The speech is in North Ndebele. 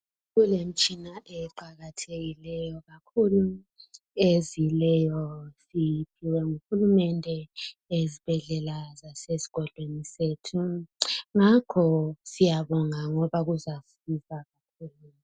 kulemitshina eqakathekileyo kakhulu ezileyo siyiphiwe nguhulumende ezibhedlela zasesigodlweni sethu ngakho siyabonga ngob kuzasiza sibili